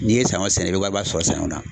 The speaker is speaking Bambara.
N'i ye sanɲɔ sɛnɛ i bɛ wariba sɔrɔ sanɲɔ na.